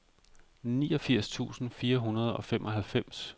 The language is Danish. niogfirs tusind fire hundrede og femoghalvfems